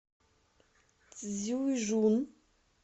цзюйжун